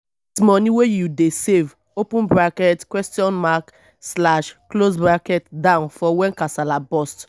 get money wey you dey save down for when kasala burst